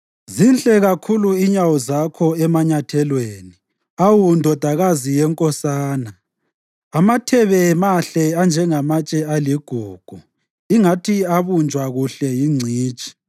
Zinhle kakhulu inyawo zakho emanyathelweni, awu ndodakazi yenkosana! Amathebe mahle anjengamatshe aligugu, ingathi abunjwa kuhle yingcitshi.